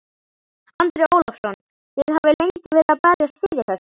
Andri Ólafsson: Þið hafið lengi verið að berjast fyrir þessu?